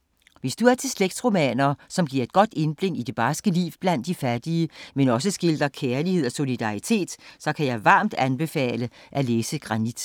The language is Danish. Hvis du er til slægtsromaner, som giver et godt indblik i det barske liv blandt de fattige, men også skildrer kærlighed og solidaritet, så kan jeg varmt anbefale at læse Granit.